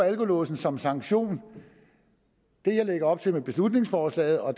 alkolåsen som sanktion det jeg lægger op til med beslutningsforslaget og